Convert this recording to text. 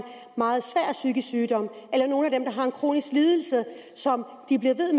meget svær psykisk sygdom og har en kronisk lidelse som de bliver ved